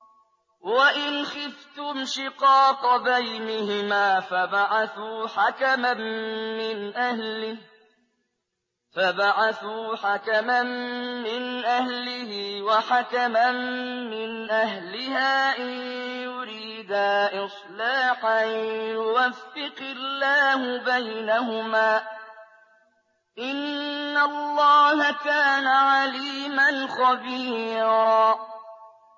وَإِنْ خِفْتُمْ شِقَاقَ بَيْنِهِمَا فَابْعَثُوا حَكَمًا مِّنْ أَهْلِهِ وَحَكَمًا مِّنْ أَهْلِهَا إِن يُرِيدَا إِصْلَاحًا يُوَفِّقِ اللَّهُ بَيْنَهُمَا ۗ إِنَّ اللَّهَ كَانَ عَلِيمًا خَبِيرًا